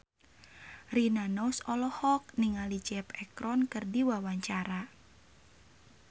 Rina Nose olohok ningali Zac Efron keur diwawancara